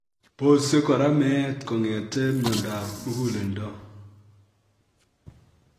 Bosi kora meet kong'etekei myondab muguleldo